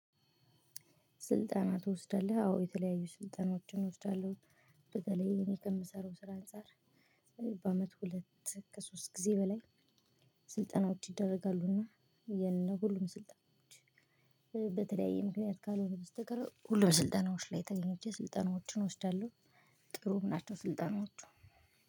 ስልጠና ትወስዳለህ አዎ የተለያዩ ስልጠናዎችን እወስዳለሁ። በተለይ እኔ ከምሰራው ስራ አንፃር። በአመት ሁለት ከሶስት ጊዜ በላይ። ስልጠናዎች ይደረጋሉና የነ ሁሉም ስልጠናዎች። በተለያየ ምክንያት ካልሆነ በስተቀር ሁሉም ስልጠናዎች ላይ ተገኝቼ ስልጠናዎችን እወስዳለሁ። ጥሩ ናቸው። ስልጠናዎቹ